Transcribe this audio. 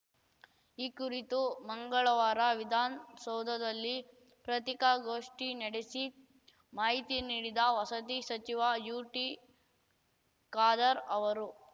ಈ ಕುರಿತು ಮಂಗಳವಾರ ವಿದಾನ್ ಸೌಧದಲ್ಲಿ ಪ್ರತೀಕಾಗೋಷ್ಠಿ ನಡೆಸಿ ಮಾಹಿತಿ ನೀಡಿದ ವಸತಿ ಸಚಿವ ಯುಟಿಖಾದರ್‌ ಅವರು